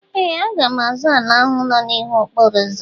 Ee! Aga m azụ ala ahụ nọ n'ihu okporo ụzọ